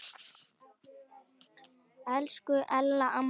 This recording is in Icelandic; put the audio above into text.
Elsku Ella amma mín.